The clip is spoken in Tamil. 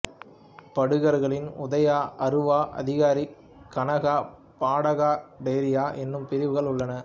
படுகர்களில் உதயா அருவா அதிகாரி கனகா படகா டொரிய எனும் பிரிவுகள் உள்ளன